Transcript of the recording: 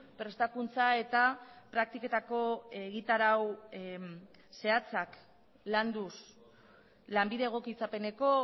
prestakuntza eta praktiketako egitarau zehatzak landuz lanbide egokitzapeneko